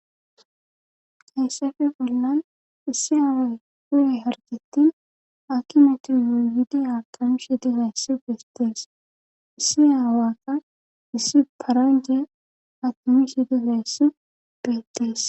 Hayssefe bolnan issi aawa guye harjettin aki metoryowidi akamshi dihaessu beestees issi aawaka issi paraje atomishi dihaessu beettees